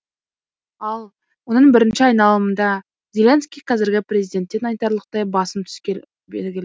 ал оның бірінші айналымында зеленский қазіргі президенттен айтарлықтай басым түскелі белгіл